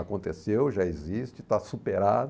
Aconteceu, já existe, está superado.